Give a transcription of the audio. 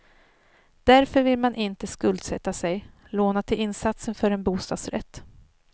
Därför vill man inte skuldsätta sig, låna till insatsen för en bostadsrätt.